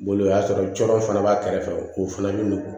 Bolo o y'a sɔrɔ cɔ fana b'a kɛrɛfɛ k'o fana bɛ nugu